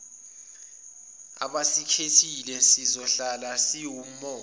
abasikhethile zizohlala ziwumongo